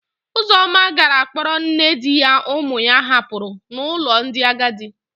Ụzọma gara kpọrọ nne di ya ụmụ ya hapụrụ n'ụlọ ndị agadi.